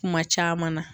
Kuma caman na